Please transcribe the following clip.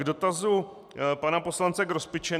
K dotazu pana poslance Grospiče.